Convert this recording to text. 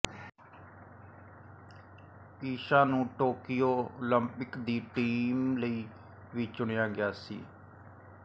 ਈਸ਼ਾ ਨੂੰ Tokyo Olympic ਦੀ team ਲਈ ਵੀ ਚੁਣਿਆ ਗਿਆ ਸੀ